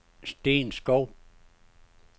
Steen Schou